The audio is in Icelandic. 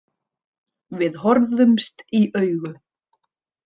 Við horfðumst í augu.